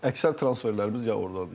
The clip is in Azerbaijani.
Əksər transferlərimiz ya ordandır.